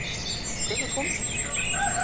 Hvenær komstu?